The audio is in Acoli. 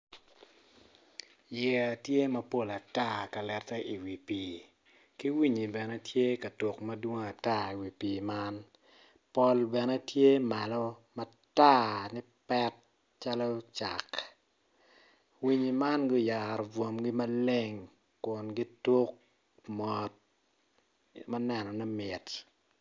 Yeya tye mapol ata ka lette iwi pii ki winyi bene tye ka tuk madwong ata iwi pii man pol bene tye malo matar lipet calo cak winyi man guyaro bwomgi maleng kun gituk mot ma nenone mit.